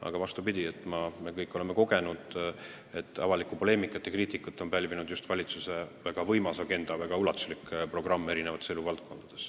Aga vastupidi, me kõik oleme kogenud, et avalikku poleemikat, sh ka kriitikat on pälvinud just valitsuse väga võimas agenda, väga ulatuslik programm eri eluvaldkondades.